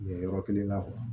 Yen yɔrɔ kelen na